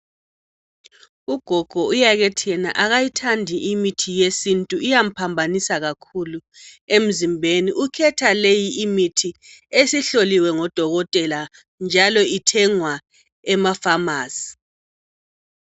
Ugogo uyakethi yena akayithandi imithi yesintu iyamphambanisa kakhulu emzimbeni. Ukhetha leyi imithi esihloliwe ngodokotela njalo ithengwa emafamasi.